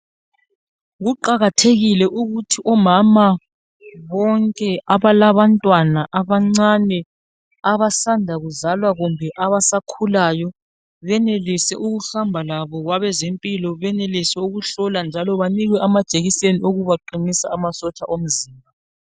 Kuqakathekile ukuthi omama bonke abala bantwana abancane abasanda kuzalwa kumbe abasakhulayo benelise ukuhamba labo kwabazempilo benelise ukuhlolwa njalo banikwe amajekiseni aqinisa imizimba